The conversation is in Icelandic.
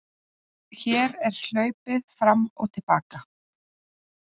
Hér er hlaupið fram og til baka.